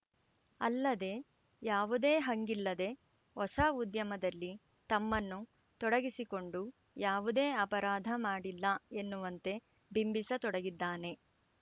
ಅಲ್ಲದೆ ಯಾವುದೇ ಹಂಗಿಲ್ಲದೆ ಹೊಸ ಉದ್ಯಮದಲ್ಲಿ ತಮ್ಮನ್ನು ತೊಡಗಿಸಿಕೊಂಡು ಯಾವುದೇ ಅಪರಾಧ ಮಾಡಿಲ್ಲ ಎನ್ನುವಂತೆ ಬಿಂಬಿಸ ತೊಡಗಿದ್ದಾನೆ